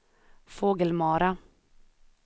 Fågelmara